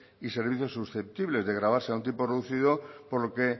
y servicios susceptibles de grabarse a un tipo reducido por lo que